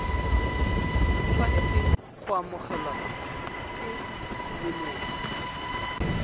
tshwanetseng go amogelwa ke leloko